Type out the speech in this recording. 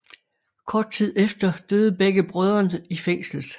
Kort tid efter døde begge brødrene i fængslet